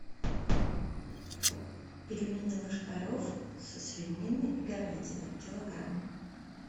пельмени лошкарев со свининой и говядиной килограмм